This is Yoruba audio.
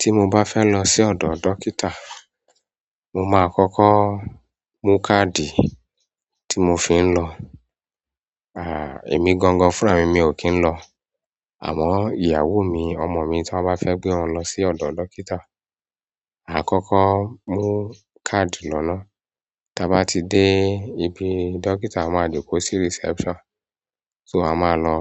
Tí mo bá fẹ́ lọ sí ọ̀dọ̀ dókítà, mo máa kọ́kọ́ mú káàdì tí mo fi ń lọ. Àhà, èmi gangan fúnra mi mi ò kí ń lọ. Àmọ́ ìyàwó mi, ọmọ mi, tí wọ́n bá fẹ́ gbé wọn lọ sí ọ̀dọ̀ dókítà, a kọ́kọ́ mú káàdì lọ́ na. Tí a bá ti dé ibi dókítà, a máa jókòó sí reception. So a máa lọ,